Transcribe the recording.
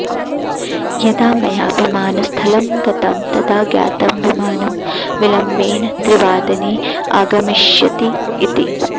यदा मया विमानस्थलं गतं तदा ज्ञातं विमानं विलम्बेन त्रिवादने आगमिष्यति इति